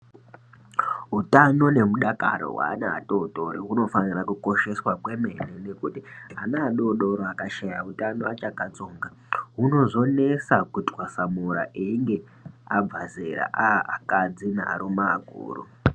Utano nemudakaro hweana atootori hunofanira kushosheswa kwemene ngekuti ana adoodori akashaya utano achakatsonga, hunozonesa kutwasamura einge abve zera, aaakadzi nearume akuru.